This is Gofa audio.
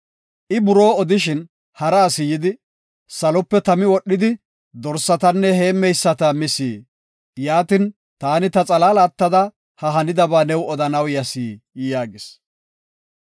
I buroo odishin hara asi yidi, “Salope tami wodhidi dorsatanne heemmeyisata mis. Yaatin, taani ta xalaala attada ha hanidaba new odanaw yas” yaagis.